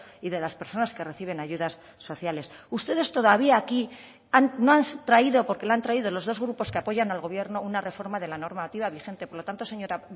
y de las personas que reciben ayudas sociales ustedes todavía aquí no han traído porque lo han traído los dos grupos que apoyan al gobierno una reforma de la normativa vigente por lo tanto señora